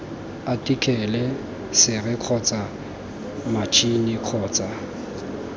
athikele sere kgotsa matšhini kgotsa